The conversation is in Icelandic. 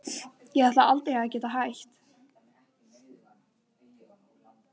Ég ætlaði aldrei að geta hætt.